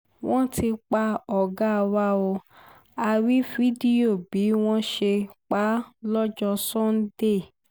wọ́n ti pa ọ̀gá wa ó a rí fídíò bí wọ́n ṣe pa á lọ́jọ́ sànńdẹ̀